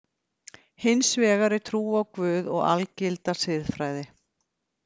Hins vegar er trú á Guð og algilda siðfræði.